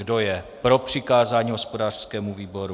Kdo je pro přikázání hospodářskému výboru?